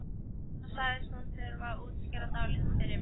En þá sagðist hún þurfa að útskýra dálítið fyrir mér.